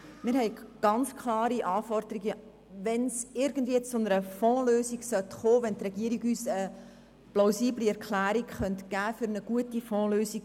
Wir haben ganz klare Anforderungen, wenn es irgendwie zu einer Fondslösung kommen sollte, wenn die Regierung uns eine plausible Erklärung geben könnte für eine gute Fondslösung.